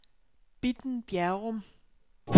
Bitten Bjerrum